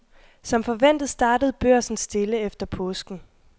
Som forventet startede børsen stille efter påsken.